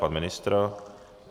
Pan ministr?